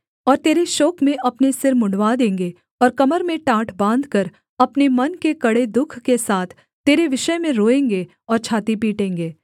और तेरे शोक में अपने सिर मुँण्डवा देंगे और कमर में टाट बाँधकर अपने मन के कड़े दुःख के साथ तेरे विषय में रोएँगे और छाती पीटेंगे